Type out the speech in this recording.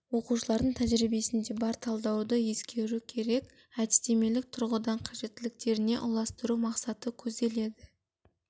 оқушылардың тәжірибесінде бар талдауды ескеру керек әдістемелік тұрғыдан қажеттіліктеріне ұластыру мақсаты көзделеді